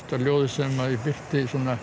ljóðið sem ég birti